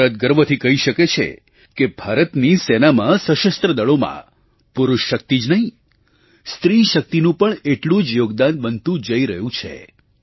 ભારત ગર્વથી કહી શકે છે કે ભારતની સેનામાં સશસ્ત્ર દળોમાં પુરુષ શક્તિ જ નહીં સ્ત્રીશક્તિનું પણ એટલું જ યોગદાન બનતું જઈ રહ્યું છે